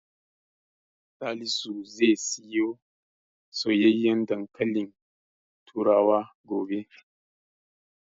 Salisu zai siyo soyayyen dankalin turawa gobe.